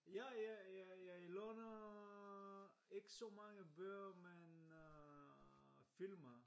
Ja ja jeg låner ikke så mange bøger men øh film